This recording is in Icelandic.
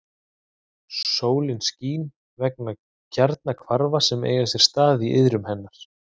Sólin skín vegna kjarnahvarfa sem eiga sér stað í iðrum hennar.